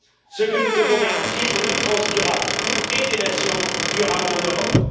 Ce que nous devons garantir, c'est une France durable et des nations durables en Europe.